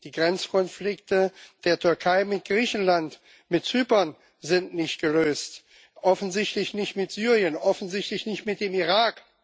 Die Grenzkonflikte der Türkei mit Griechenland, mit Zypern sind nicht gelöst, offensichtlich nicht mit Syrien, offensichtlich nicht mit dem Irak.